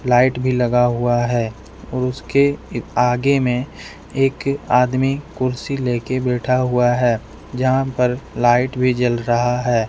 Light भी लगा हुआ है और उसके आगे में एक आदमी कुर्सी लेके बैठा हुआ है जहां पर लाइट भी जल रहा है।